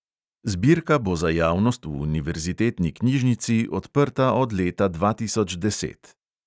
Zbirka bo za javnost v univerzitetni knjižnici odprta od leta dva tisoč deset.